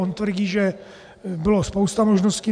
On tvrdí, že bylo spousta možností.